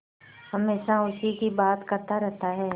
हमेशा उसी की बात करता रहता है